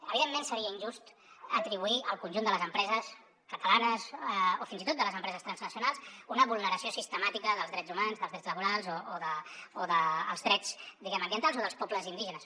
evidentment seria injust atribuir al conjunt de les empreses catalanes o fins i tot de les empreses transnacionals una vulneració sistemàtica dels drets humans dels drets laborals o dels drets ambientals o dels pobles indígenes